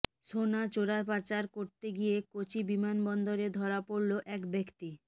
সোনা চোরাপাচার করতে গিয়ে কোচি বিমানবন্দরে ধরা পড়লো এক ব্যক্তি